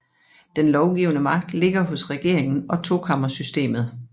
Den lovgivende magt ligger hos regeringen og tokammersystemmet